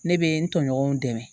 Ne bɛ n tɔɲɔgɔnw dɛmɛ